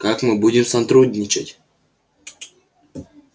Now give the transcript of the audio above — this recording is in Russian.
как мы будем сотрудничать